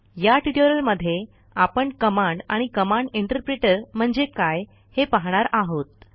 या ट्युटोरियलमध्ये आपण कमांड आणि कमांड इंटरप्रिटर म्हणजे काय हे पाहणार आहोत